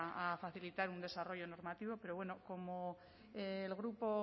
a facilitar un desarrollo normativo pero bueno como el grupo